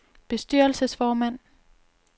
bestyrelsesformand